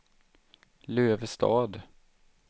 Lövestad